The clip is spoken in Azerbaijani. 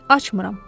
Açmıram.